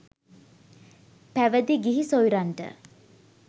පැවිදි ගිහි සොයුරන්ට